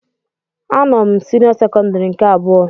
A nọ m senio sekondari nke abụọ.